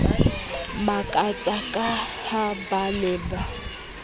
makatsa ka ha ba ne